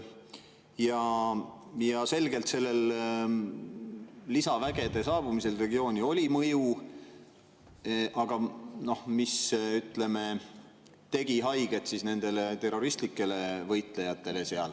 Ja selgelt sellel lisavägede saabumisel regiooni oli mõju, mis, ütleme, tegi haiget nendele terroristlikele võitlejatele.